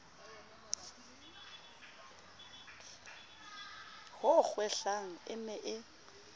ho kgwehlang e ne e